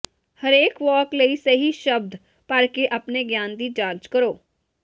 ਹਰੇਕ ਵਾਕ ਲਈ ਸਹੀ ਸ਼ਬਦ ਭਰ ਕੇ ਆਪਣੇ ਗਿਆਨ ਦੀ ਜਾਂਚ ਕਰੋ